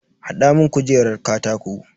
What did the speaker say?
Hada mun kujerar katako.